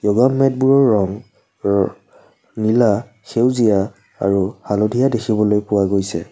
Mat বোৰৰ ৰং ৰ নীলা সেউজীয়া আৰু হালধীয়া দেখিবলৈ পোৱা গৈছে।